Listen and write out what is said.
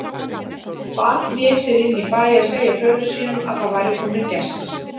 Barn vék sér inn í bæ að segja föður sínum að það væru komnir gestir.